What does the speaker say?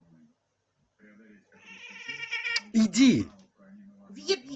иди